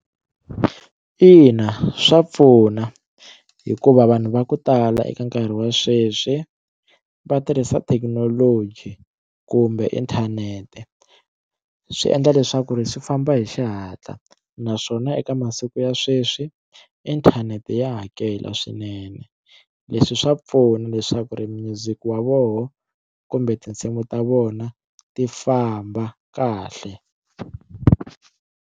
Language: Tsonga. Ina swa pfuna hikuva vanhu va ku tala eka nkarhi wa sweswi va tirhisa thekinoloji kumbe inthanete swi endla leswaku ri swi famba hi xihatla naswona eka masiku ya sweswi inthanete ya hakela swinene leswi swa pfuna leswaku ri music wa vona kumbe tinsimu ta vona ti famba kahle.